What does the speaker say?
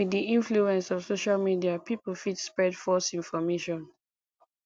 with di influence of social media pipo fit spread false information